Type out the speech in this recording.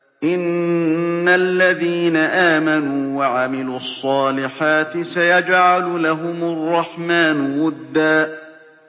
إِنَّ الَّذِينَ آمَنُوا وَعَمِلُوا الصَّالِحَاتِ سَيَجْعَلُ لَهُمُ الرَّحْمَٰنُ وُدًّا